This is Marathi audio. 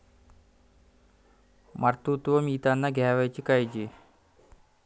मातृत्व मिळताना घ्यावयाची काळजी